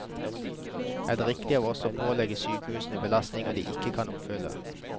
Er det riktig av oss å pålegge sykehusene belastninger de ikke kan oppfylle?